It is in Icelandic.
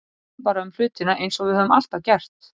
Við tölum bara um hlutina eins og við höfum alltaf gert.